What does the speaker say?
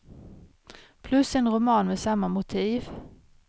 Plus en roman med samma motiv.